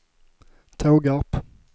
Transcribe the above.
Tågarp